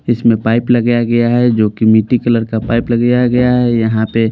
इसमें पाइप लगाया गया है जोकि मिट्टी कलर का पाइप लगाया गया है यहाँ पे --